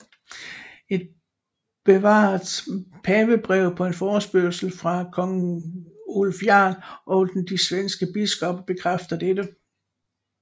Et bevaret pavebrev på en forespørgsel fra kong Ulf Jarl og de svenske biskopper bekræfter dette